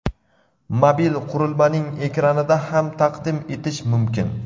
mobil qurilmaning ekranida ham taqdim etish mumkin;.